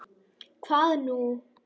SKÚLI: Hvað nú?